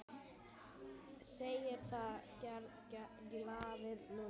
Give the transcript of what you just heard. Segir það ekki? galaði Lúlli.